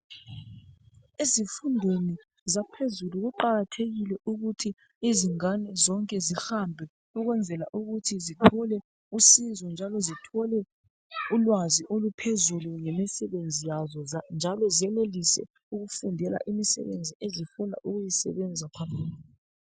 Ezifundweni zaphezulu kuqakathekile ukuthi izingane zonke zihambe ukwenzela ukuthi zithole usizo njalo zithole ulwazi oluphezulu ngemisebenzi yazo njalo zenelise ukufundela imisebenzi ezifisa ukuyenza phambilini.